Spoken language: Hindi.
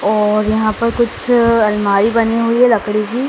और यहां पर कुछ अलमारी बने हुई है लकड़ी की।